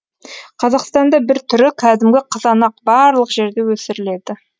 қазақстанда бір түрі кәдімгі қызанақ барлық жерде өсіріледі